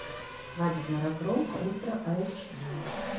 свадебный разгром ультра айч ди